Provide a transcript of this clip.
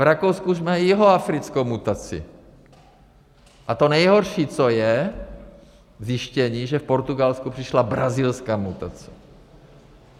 V Rakousku už mají jihoafrickou mutaci a to nejhorší, co je, je zjištění, že v Portugalsku přišla brazilská mutace.